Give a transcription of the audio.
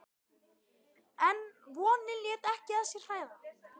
En vonin lét ekki að sér hæða.